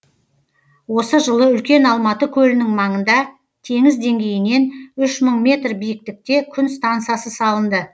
осы жылы үлкен алматы көлінің маңында теңіз деңгейінен үш мың метр биіктікте күн стансасы салынды